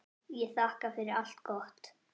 Ég þakka fyrir allt gott.